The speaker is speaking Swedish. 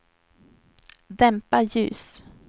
dämpa ljus